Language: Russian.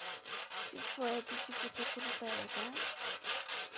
типа это типа ты крутая да